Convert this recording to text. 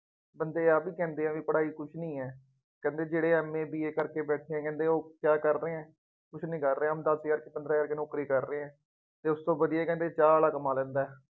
ਬੰਦੇ ਆਹ ਵੀ ਕਹਿੰਦੇ ਆ ਬਈ ਪੜ੍ਹਾਈ ਕੁੱਝ ਨਹੀਂ ਹੈ। ਕਹਿੰਦੇ ਜਿਹੜੇ MABA ਕਰਕੇ ਬੈਠੇ ਕਹਿੰਦੇ ਉਹ ਕਿਆ ਕਰ ਰਹੇ ਹੈ। ਕੁੱਝ ਨਹੀਂ ਕਰ ਰਹੇ, ਹੁਣ ਦੱਸ ਹਜ਼ਰ ਚ ਪੰਦਰਾ ਹਜ਼ਾਰ ਚ ਨੌਕਰੀ ਕਰ ਰਹੇ ਹੈ ਅਤੇ ਉਸ ਤੋਂ ਵਧੀਆ ਕਹਿੰਦੇ ਚਾਹ ਵਾਲਾ ਕਮਾ ਲੈਂਦਾ ਹੈ।